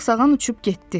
Sağsağan uçub getdi.